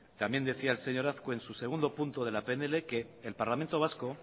también decía el señor azkue en su segundo punto de la pnl que el parlamento vasco